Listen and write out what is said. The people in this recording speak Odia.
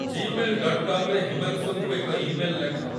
ଜିମେଲ୍ ଡଟ୍ କମ୍ ରେ ହିମାଂଶୁଙ୍କୁ ଏକ ଇମେଲ୍ ଲେଖ